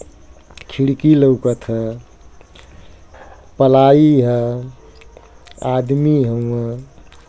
पलाइ ह आदमी हउवं ठोकत हउवं तार ह।